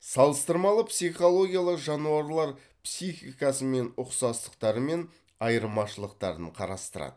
салыстырмалы психологиялы жануарлар психикасымен ұқсастықтары мен айырмашылықтарын қарастырады